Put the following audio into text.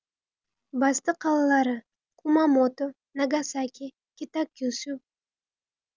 басты қалалары кумамото нагасаки китакюсю